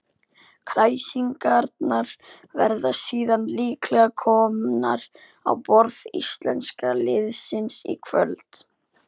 Kræsingarnar verða síðan líklega komnar á borð íslenska liðsins í kvöld.